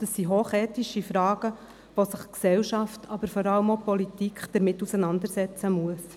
– Das sind hoch ethische Fragen, mit denen sich die Gesellschaft, aber vor allem auch die Politik auseinandersetzten müssen.